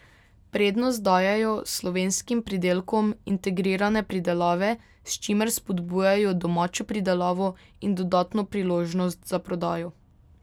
Prednost dajejo slovenskim pridelkom integrirane pridelave, s čimer spodbujajo domačo pridelavo in dodatno priložnost za prodajo.